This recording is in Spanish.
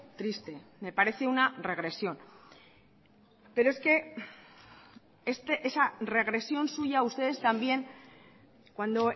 triste me parece una regresión pero es que esa regresión suya ustedes también cuando